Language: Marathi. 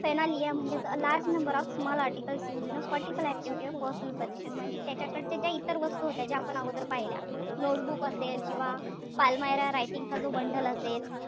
Phernalia म्हणजेच a large number of small articles used in a particular activity or personal possession म्हणजेच त्याच्याकडच्या ज्या इतर वस्तू होत्या ज्या आपण अगोदर पहिल्या notebook असेल किंवा palmyra writing चा जो bundle असेल.